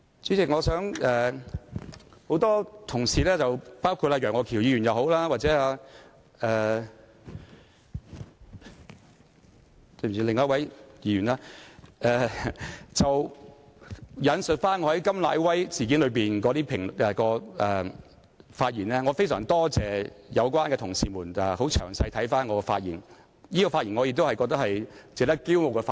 代理主席，很多同事包括楊岳橋議員及另一位議員也引述我在甘乃威事件中的發言，我非常多謝有關同事詳細地閱讀我的發言內容，而那次發言也是我認為值得驕傲的發言。